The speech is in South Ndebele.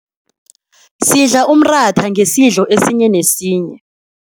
Sidla umratha ngesidlo esinye nesinye.